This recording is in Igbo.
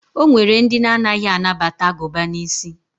O nwere ndị na-anaghị anabata agụba n'isi.